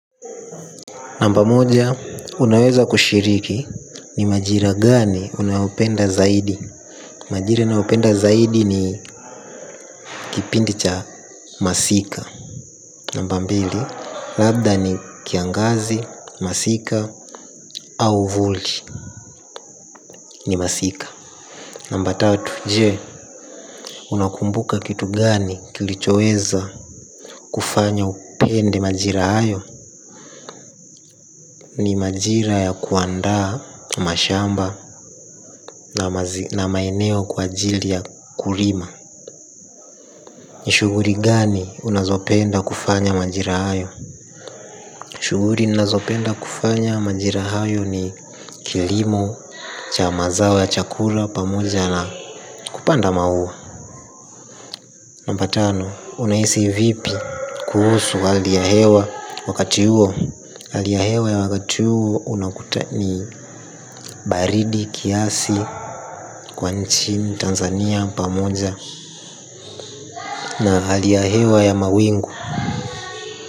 Namba moja unaweza kushiriki, ni majira gani unayopenda zaidi. Majira nayopenda zaidi ni kipindi cha masika. Namba mbili, labda ni kiangazi, masika, au vulti ni masika. Namba tatu, je, unakumbuka kitu gani kilichoweza kufanya upende majira hayo. Ni majira ya kuandaa mashamba na maeneo kwa ajili ya kulima. Shuguri gani unazopenda kufanya majira hayo. Shuguri ninazopenda kufanya majira hayo ni kilimo cha mazao ya chakula pamoja na kupanda maua. Namba tano, unahisi vipi kuhusu hali ya hewa wakati huo. Hali ya hewa ya wakati huo unakuta ni baridi kiasi kwa nchini Tanzania pamoja na halia ya hewa ya mawingu.